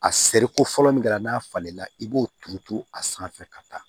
A seriko fɔlɔ min kɛra n'a falenna i b'o turu turu a sanfɛ ka taa